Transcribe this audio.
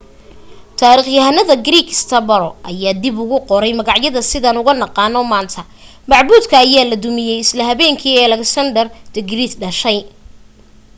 taarikhyahanka greek strabo ayaa ka dib ugu qoray magaca sidaan ugu naqaano maanta macbuudka ayaa la dumiyay isla habeenkii uu alexander the great dhashay